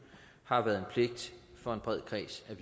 har været en pligt for en bred kreds